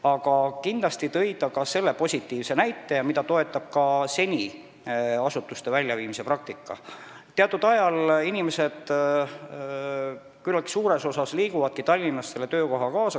Aga ta tõi ka positiivse näite, mida toetab senine asutuste Tallinnast väljaviimise praktika, et teatud ajal liigub küllaltki palju inimesi nende töökohtadega kaasa.